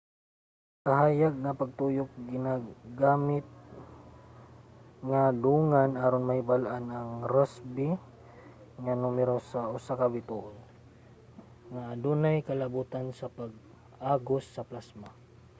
ang kahayag ug pagtuyok ginagamit nga dungan aron mahibal-an ang rossby nga numero sa usa ka bituon nga adunay kalabotan sa pag-agos sa plasma